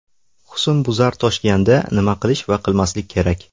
Husnbuzar toshganda nima qilish va qilmaslik kerak?.